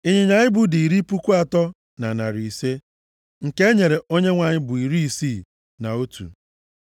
Ịnyịnya ibu dị iri puku atọ na narị ise (30,500). Nke e nyere Onyenwe anyị bụ iri isii na otu (61).